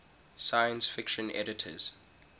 science fiction editors